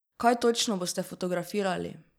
Kaj točno boste fotografirali?